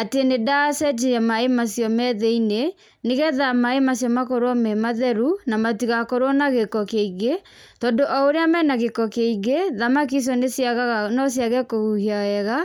atĩ nĩ ndacenjia maĩ macio me thĩiniĩ, nĩ getha maĩ macio makorwo me matheru, na matigakorwo na gĩko kĩngĩ, tondũ o ũrĩa mena gĩko kĩingĩ thamaki icio nĩ ciagaga no ciage kũhuhia wega,